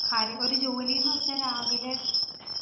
കാര്യം. ഒരു ജോലീന്നുവച്ചാ രാവിലെ